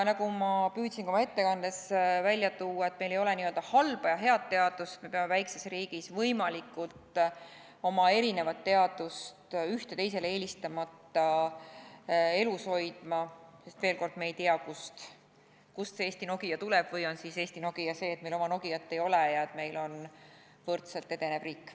Nagu ma püüdsin ka oma ettekandes välja tuua, et meil ei ole n-ö halba ja head teadust, me peame erinevat teadust, ühte teisele eelistamata, oma väikses riigis elus hoidma, sest veel kord, me ei tea, kust see Eesti Nokia tuleb, või on siis Eesti Nokia see, et meil oma Nokiat ei ole ja et meil on võrdselt edenev riik.